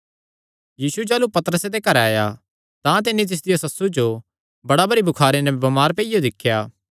यीशु जाह़लू पतरसे दे घरे आया तां तिन्नी तिसदिया सस्सु जो बड़ा भरी बुखार नैं बमार पेईयो दिख्या